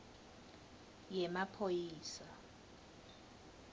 yemaphoyisa